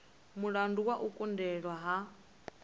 mulandu wa u kundelwa ha